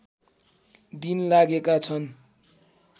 दिन लागेका छन्